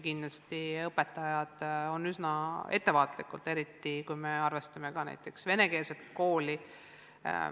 Kindlasti on õpetajad üsna ettevaatlikud, eriti kui me arvestame näiteks venekeelset kooli.